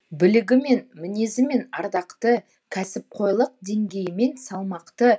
білігімен мінезімен ардақты кәсіпқойлық денгейімен салмақты